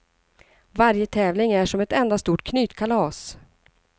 Varje tävling är som ett enda stort knytkalas.